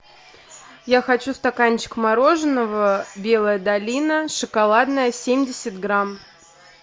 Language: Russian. я хочу стаканчик мороженого белая долина шоколадное семьдесят грамм